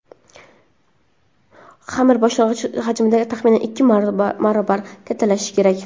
Xamir boshlang‘ich hajmidan taxminan ikki barobar kattalashishi kerak.